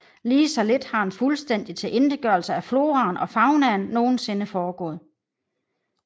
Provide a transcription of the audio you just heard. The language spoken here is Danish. Lige så lidt har en fuldstændig tilintetgørelse af floraen og faunaen nogensinde foregået